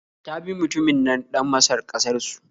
Ta bi mutunin nan ɗan Masar ƙasar su